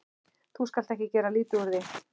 Þú skalt ekki gera lítið úr því.